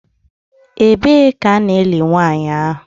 Ebee ka a ga-eli nwanyị ahụ?